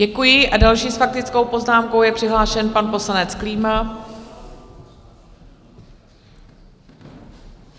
Děkuji a další s faktickou poznámkou je přihlášen pan poslanec Klíma.